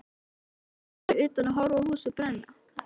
Varstu ekki fyrir utan að horfa á húsið brenna?